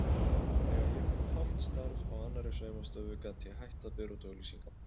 Þegar ég fékk hálft starf á annarri saumastofu gat ég hætt að bera út auglýsingarnar.